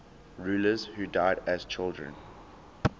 rulers who died as children